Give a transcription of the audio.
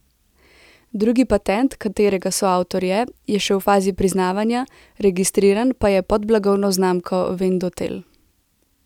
Drugi patent, katerega soavtor je, je še v fazi priznavanja, registriran pa je pod blagovno znamko Vendotel.